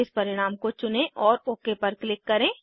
इस परिणाम को चुनें और ओक पर क्लिक करें